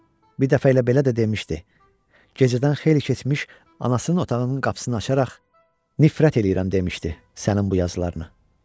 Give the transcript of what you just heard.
Bir dəfə elə belə də demişdi: Gecədən xeyli keçmiş anasının otağının qapısını açaraq, "Nifrət eləyirəm!" demişdi, sənin bu yazılarına.